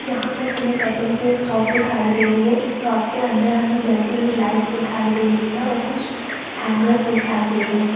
यहाँ पर हमें कपड़े की एक शॉप दिखाई दे रही है इस शॉप के अंदर हमें जलती हुई लाइट दिखाई दे रही है और कुछ हैगर दिखाई दे रहै है।